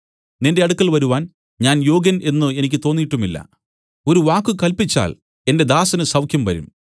നിന്റെ അടുക്കൽ വരുവാൻ ഞാൻ യോഗ്യൻ എന്നു എനിക്ക് തോന്നീട്ടുമില്ല ഒരു വാക്ക് കല്പിച്ചാൽ എന്റെ ദാസന് സൌഖ്യംവരും